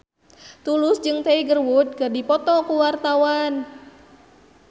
Tulus jeung Tiger Wood keur dipoto ku wartawan